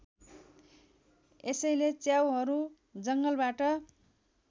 यसैले च्याउहरू जङ्गलबाट